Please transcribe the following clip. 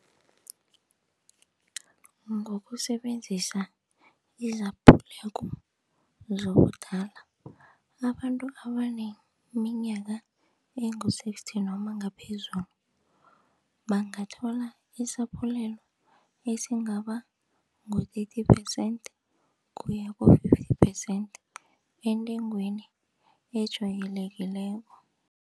Ngokusebenzisa izaphulelo zobudala, abantu abaneminyaka ezingu-sixty noma ngaphezulu bangathola isaphulelo esingaba ngu-thirty percent kuya ku-fifty percent entengweni ejwayelekileko.